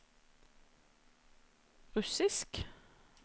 russisk